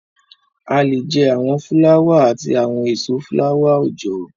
A lè jẹ́ àwọn fúláwà àti àwọn èso fúláwà-oòjọ́